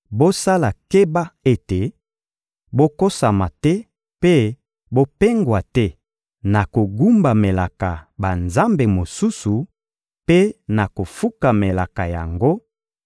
Bosala keba ete bokosama te mpe bopengwa te na kogumbamelaka banzambe mosusu mpe na kofukamelaka yango,